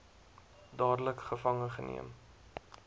dadelik gevange geneem